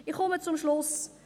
Ich komme zum Schluss.